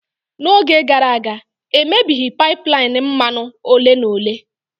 N'oge gara aga, e mebighi pipeline mmanụ ole na ole.